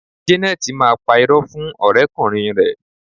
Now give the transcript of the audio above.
Jeneti máa pá irọ́ fún ọ̀rẹ́ kùnrin rẹ